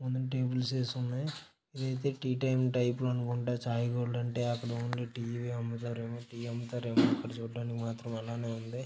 ముందున టేబుల్స్ యేసున్నాయి ఇదైతే టీ టైం టైపులు అనుకుంట చాయ్ గోల్డ్ అంటే అక్కడ వుండే టీ ఇవే అమ్ముతారేమో టీ అమ్ముతారేమో అక్కడ చూడ్డానికి మాత్రం అలానే వుంది .